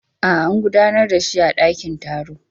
A'a, an gudanar da shi a dakin taro.